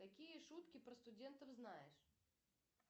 какие шутки про студентов знаешь